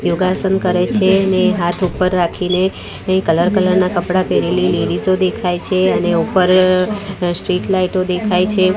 યોગાસન કરે છે ને હાથ ઉપર રાખીને કઈ કલર કલર ના કપડા પેરેલી લેડીસો દેખાય છે અને ઉપર અ સ્ટ્રીટ લાઈટો દેખાય છે.